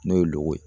N'o ye loko ye